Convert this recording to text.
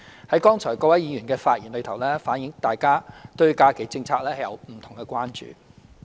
從各位議員剛才的發言中，反映大家對假期政策有不同的關注。